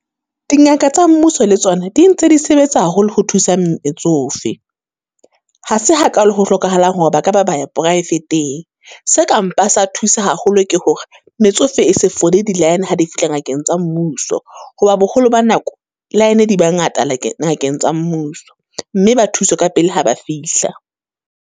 Di ngaka tsa mmuso le tsona, di ntse di sebetsa haholo ho thusa metsofe. Ha se hakalo ho hlokahalang hore ba ka ba ba ya poraefeteng, se ka mpa sa thusa haholo ke hore. Metsofe e se fodi di-line ha di fihla ngakeng tsa mmuso, ho ba boholo ba nako, line di ba ngata ngakeng tsa mmuso. Mme ba thuswe ka pele ha ba fihla.